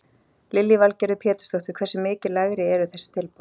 Lillý Valgerður Pétursdóttir: Hversu mikið lægri eru þessi tilboð?